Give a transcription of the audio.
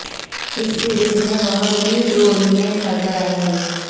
इस सीरीज में वह लीड रोल में नजर आएंगे